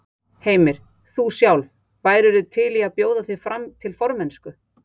Heimir: Þú sjálf, værirðu til í að bjóða þig fram til formennsku?